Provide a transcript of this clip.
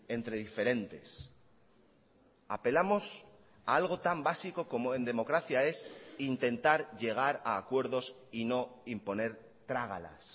entre diferentes apelamos a algo tan básico como en democracia es intentar llegar a acuerdos y no imponer trágalas